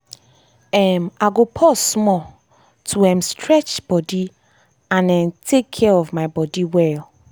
um i go pause small to um stretch body and um take care of my body well.